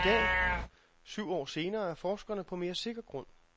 I dag, syv år senere, er forskerne på mere sikker grund.